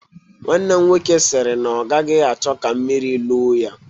Nwanne m nwoke sịrị na ọ gaghị achọ ka mmiri loo ya